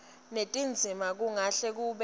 netindzima kungahle kube